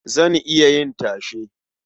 Zan iya yin tashe.